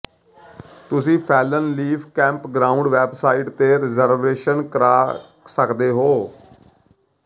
ਤੁਸੀਂ fallen leaf campground website ਤੇ reservation ਕਰ ਸਕਦੇ ਹੋ